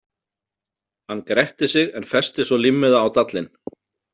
Hann gretti sig en festi svo límmiða á dallinn.